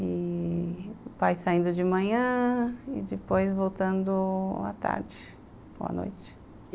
E... o pai saindo de manhã e depois voltando à tarde ou à noite.